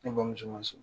Ne bamuso ma so